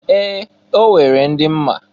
Ee! O nwere ndị m ma.